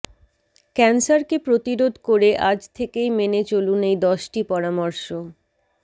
ক্যান্সারকে প্রতিরোধ করে আজ থেকেই মেনে চলুন এই দশটি পরামর্শ